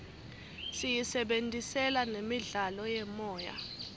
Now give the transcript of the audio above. siyisebentisela nemidlalo yemoya